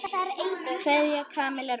Kveðja, Kamilla Rún.